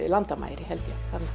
landamæri held ég þarna